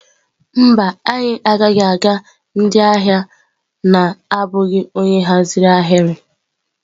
Mba, anyị agaghị aga ndị ahịa na-abụghị onye nhazi ahịrị.